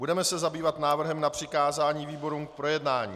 Budeme se zabývat návrhem na přikázání výborům k projednání.